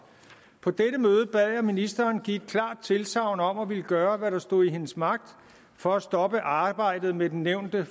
på dette møde bad jeg ministeren give et klart tilsagn om at ville gøre hvad der stod i hendes magt for at stoppe arbejdet med den nævnte